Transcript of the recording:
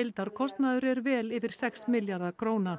heildarkostnaður er vel yfir sex milljarða króna